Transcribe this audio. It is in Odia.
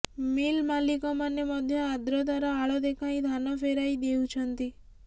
ମିଲ ମାଲିକମାନେ ମଧ୍ୟ ଆଦ୍ରତାର ଆଳ ଦେଖାଇ ଧାନ ଫେରାଇ ଦେଉଛନ୍ତି